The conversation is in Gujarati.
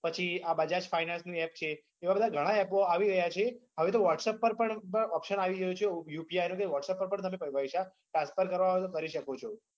પછી આ બજાજ fainance ની app છે એવા બધા ગણા app આવી રહ્યા છે હવે તો whatsapp પર પણ option આવી ગયો છે UPI નો હવે તો તમે whatsapp પર પણ તમે પૈસા transfer કરવા હોય તો કરી શકો છો